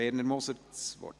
Werner Moser hat das Wort.